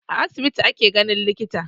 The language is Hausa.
A asibiti ake ganin likita